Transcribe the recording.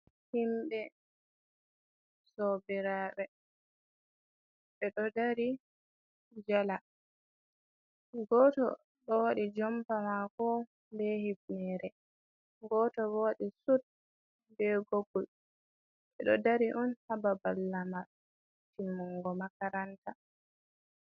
Himɓe sobiraɓe ɓeɗo dari jala, goto ɗo waɗi jompa mako be hifnere, goto bo waɗi sud be goggol, ɓeɗo dari on hababal lama timmungo makaranta.